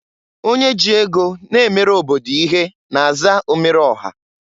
Onye ji ego na-emere obodo ihe na-aza omereọha.